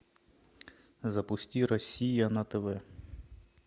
запусти россия на тв